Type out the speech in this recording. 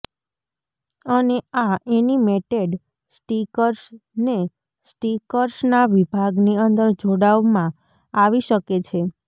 અને આ animated stickers ને સ્ટીકર્સ ના વિભાગ ની અંદર જોડાવ માં આવી શકે છે